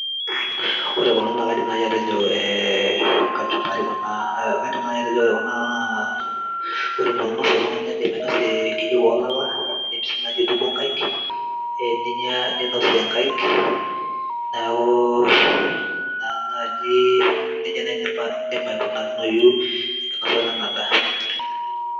ore kulo naa kaidim naaji atejo eh, kachumbari kuna kaidim naaji atejo ore kuna naa ore entoki ninosie oltung'ani naa indim ainosie enkijiko olala indim sii naji aitukuo inkaik eh, ninyia ninosie inkaik neeku ina naaji, nejia naaji indim aikunayu enkinosata ena daa.